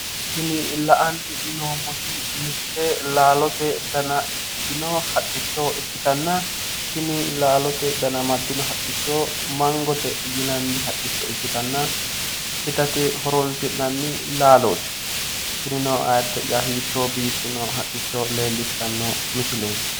Tini la''ani noommoti mitte laalote dana ikkitino haqqicho ikkotanna tini laalote dana amaddino haqqicho mangote yinanni haqicho ikkitanna itate horoonsi'nanni laalooti tinino ayidde'ya hiitto biifino haqqicho leellishshanno misileeti!